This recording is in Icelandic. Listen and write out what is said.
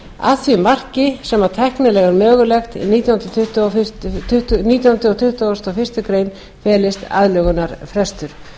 því marki sem það er tæknilega mögulegt í nítjándu og tuttugasta og fyrstu grein felist aðlögunarfrestur